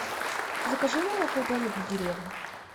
закажи молоко домик в деревне